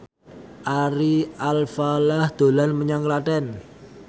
Ari Alfalah dolan menyang Klaten